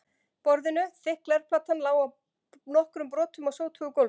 borðinu, þykk glerplatan lá í nokkrum brotum á sótugu gólfinu.